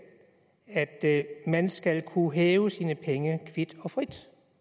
at man skal kunne hæve sine penge kvit og frit